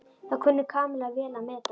Það kunni Kamilla vel að meta.